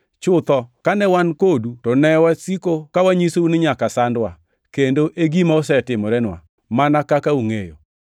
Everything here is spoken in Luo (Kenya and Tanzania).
Chutho, kane wan kodu to ne wasiko ka wanyisou ni nyaka sandwa, kendo e gima osetimorenwa, mana kaka ungʼeyo.